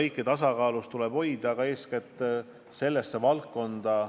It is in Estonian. Aga eeskätt tuleb sellesse valdkonda, Eesti tervishoiusüsteemi ikkagi rohkem raha leida.